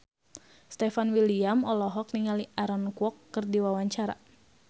Stefan William olohok ningali Aaron Kwok keur diwawancara